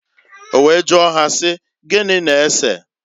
O wee jụọ ha si, "Gini na-eseǃ"